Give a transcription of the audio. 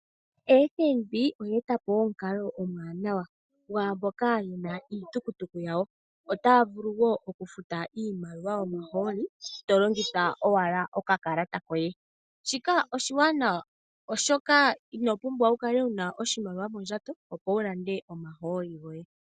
Fnb oye etapo omukalo omuwanawa gwaamboka yena iitukutuku yawo. Otaya vulu woo okufuta iimaliwa oshoka inopumbwa wukale wuna oshimaliwa mondjato opo wulande omahooli goye.